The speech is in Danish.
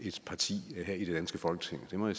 parti her i det danske folketing det må